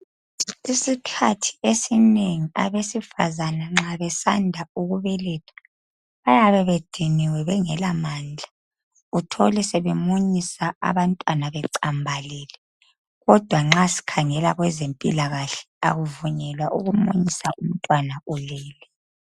Isikhathi esinengi abesifazane nxa besanda ukubeletha bayabe bediniwe bengala mandla uthole sebemunyisa abantwana becambalele kodwa nxa sikhangela abezempilakahle akuvunyelwa ukumunyisa umntwana ulele